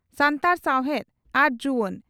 ᱥᱟᱱᱛᱟᱲ ᱥᱟᱣᱦᱮᱫ ᱟᱨ ᱡᱩᱣᱟᱹᱱ